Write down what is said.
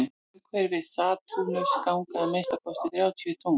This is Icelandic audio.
umhverfis satúrnus ganga að minnsta kosti þrjátíu tungl